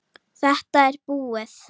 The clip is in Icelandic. Þetta er búið!